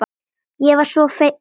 Ég var sko fegin!